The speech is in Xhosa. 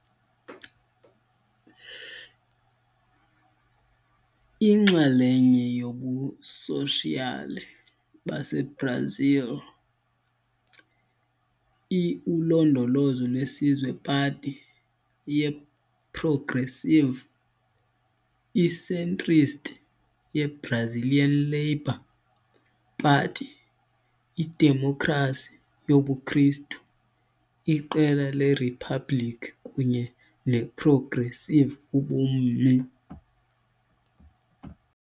Inxalenye yobuSoshiyali baseBrazil, i-Ulondolozo lwesizwe Party ye-Progressive, i-centrist ye-Brazilian Labor Party, i-Idemokhrasi yobuKristu Iqela leRiphabhlikhi kunye ne-progressive Ubummi.